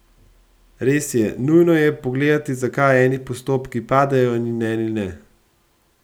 Res je, nujno je pogledati, zakaj eni postopki padejo in eni ne.